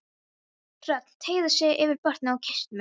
Hrönn teygði sig yfir borðið og kyssti mig.